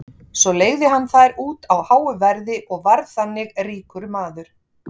Svo leigði hann þær út á háu verði og varð þannig ríkur maður.